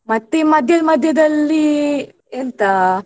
ಮತ್ತೆ ಮಧ್ಯ ಮಧ್ಯೆದಲ್ಲಿ ಎಂತ.